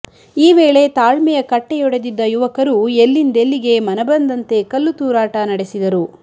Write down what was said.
ಈ ವೇಳೆ ತಾಳ್ಮೆಯ ಕಟ್ಟೆಯೊಡೆದಿದ್ದ ಯುವಕರು ಎಲ್ಲೆಂದೆಲ್ಲಿಗೆ ಮನಮಂದಂತೆ ಕಲ್ಲುತೂರಾಟ ನಡೆಸಿದರು